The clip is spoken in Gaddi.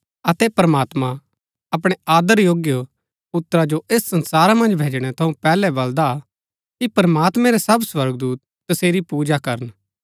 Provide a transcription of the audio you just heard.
अतै प्रमात्मां अपणै आदर योग्य पुत्रा जो ऐस संसारा मन्ज भैजणै थऊँ पैहलै बलदा कि प्रमात्मैं रै सब स्वर्गदूत तसेरी पूजा करन